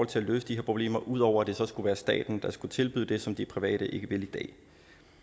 til at løse de her problemer ud over at det så skulle være staten der skulle tilbyde det som de private ikke vil tilbyde i dag